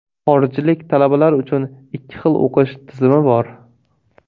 Xorijlik talabalar uchun ikki xil o‘qish tizimi bor.